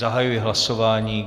Zahajuji hlasování.